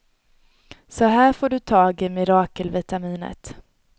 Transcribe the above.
Så här får du i dig mirakelvitaminet.